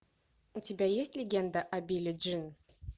у тебя есть легенда о билли джин